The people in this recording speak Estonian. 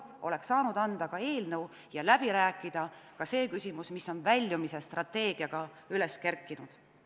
Oleks saanud üle anda eelnõu ja läbi rääkida ka selle küsimuse, mis on väljumisstrateegiaga üles kerkinud.